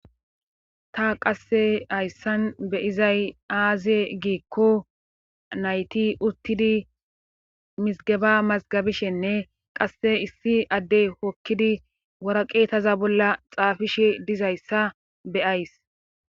Ta qassi hayssan beyiza aaze giikko nayti uttidi mizziggeba mazzigabishenne qassi issi addee hokkidi wara qeetaza bolla xaafishe diza iza be'ayiis..